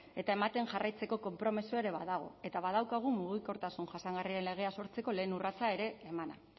eta ematen jarraitzeko konpromisoa ere badago eta badaukagu mugikortasun jasangarriaren legea sortzeko lehen urratsa ere emana